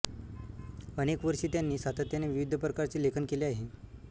अनेक वर्षी त्यांनी सातत्याने विविध प्रकारचे लेखन केले आहे